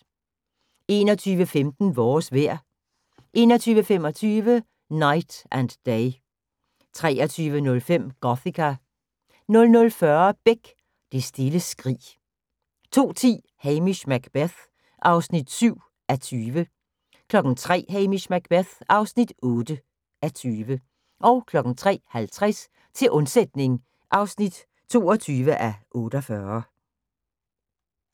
21:15: Vores vejr 21:25: Knight and Day 23:05: Gothika 00:40: Beck: Det stille skrig 02:10: Hamish Macbeth (7:20) 03:00: Hamish Macbeth (8:20) 03:50: Til undsætning (22:48)